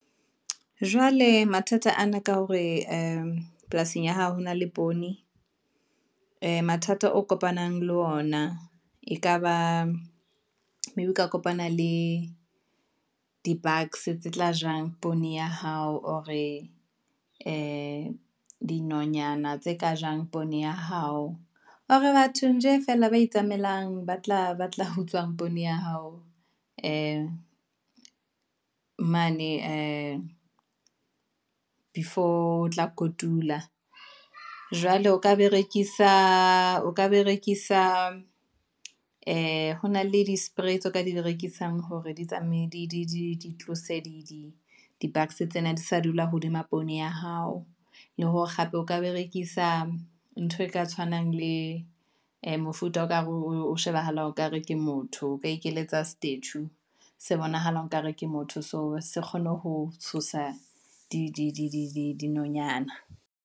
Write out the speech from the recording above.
Jwale mathata ana ka hore ee polasing ya hao hona le poone, ee mathata o kopanang le ona ekaba maybe o ka kopana le di-bugs tse tla jang poone ya hao, or ee di dinonyana tse ka jang poone ya hao, or batho nje feela ba itsamaelang ba tla utswang poone ya hao, ee, mane ee before otla kotula. Jwale o ka berekisa, ee hona le di-spray tseo o ka di berekisa hore di tsamaye di tlose di-bugs tsena, di sa dula hodima poone ya hao, le hore hape o ka berekisa ntho e ka tshwanang le ee mofuta o kare o shebahalang okare ke motho, o ka ikeletsa statue se bonahalang ekare ke motho. So se kgone ho tshosa di dinonyana.